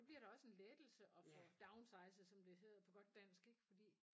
Det bliver da også en lettelse at få downsizet som det hedder på godt dansk ikke fordi